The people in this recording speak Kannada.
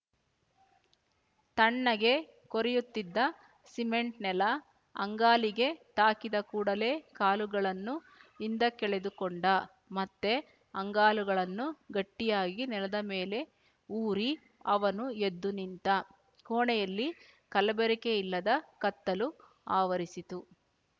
ತಣ್ಣಗೆ ಕೊರೆಯುತ್ತಿದ್ದ ಸಿಮೆಂಟ್ ನೆಲ ಅಂಗಾಲಿಗೆ ತಾಕಿದ ಕೂಡಲೇ ಕಾಲುಗಳನ್ನು ಹಿಂದಕ್ಕೆಳೆದುಕೊಂಡ ಮತ್ತೆ ಅಂಗಾಲುಗಳನ್ನು ಗಟ್ಟಿಯಾಗಿ ನೆಲದ ಮೇಲೆ ಊರಿ ಅವನು ಎದ್ದು ನಿಂತ ಕೋಣೆಯಲ್ಲಿ ಕಲಬೆರಕೆಯಿಲ್ಲದ ಕತ್ತಲು ಆವರಿಸಿತ್ತು